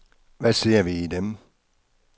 Hvad ser vi i dem.